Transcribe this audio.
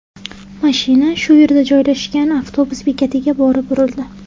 Mashina shu yerda joylashgan avtobus bekatiga borib urildi.